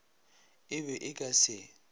e be e ka se